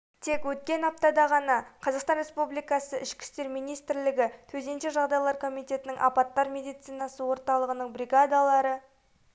тек өткен аптада ғана қазақстан республикасы ішкі істер министрлігі төтенше жағдайлар комитетінің апаттар медицинасы орталығының бригадалары